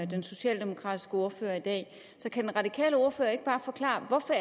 den socialdemokratiske ordfører i dag så kan den radikale ordfører ikke bare forklare hvorfor